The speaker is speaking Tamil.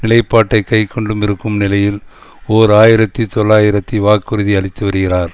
நிலைப்பாட்டை கைக்கொண்டும் இருக்கும் நிலையில் ஓர் ஆயிரத்தி தொள்ளாயிரத்தி வாக்குறுதி அளித்து வருகிறார்